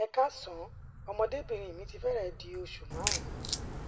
ẹ káàsán ọmọde obinrin mi ti fẹrẹẹ di osu marun